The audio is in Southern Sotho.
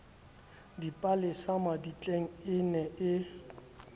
dipalesa mabitleng e ne e